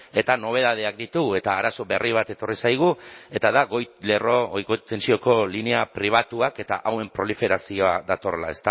eta nobedadeak ditugu eta arazo berri bat etorri zaigu eta da goi tentsioko linea pribatuak eta hauen proliferazioa datorrela